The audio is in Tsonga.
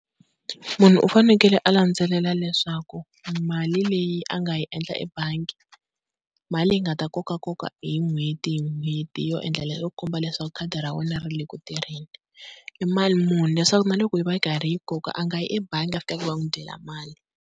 Munhu u fanekele a landzelela leswaku mali leyi a nga yi endla ebangi, mali yi nga ta kokakoka hi n'hweti hi n'hweti yo endlela yo komba leswaku khadi ra wena ri le ku tirheni i mali muni, leswaku na loko yi va yi karhi yi koka a nga yi ebangi a fika a ku va n'wi dyela mali.